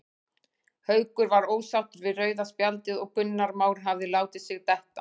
Haukur var ósáttur við rauða spjaldið og að Gunnar Már hafi látið sig detta.